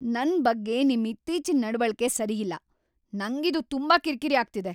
ನನ್ ಬಗ್ಗೆ ನಿಮ್ ಇತ್ತೀಚಿನ್ ನಡವಳಿಕೆ ಸರಿ ಇಲ್ಲ.‌ ನಂಗಿದು ತುಂಬಾ ಕಿರಿಕಿರಿ ಆಗ್ತಿದೆ.